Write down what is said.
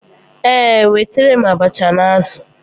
Ee, wetara m abacha na azụ̀.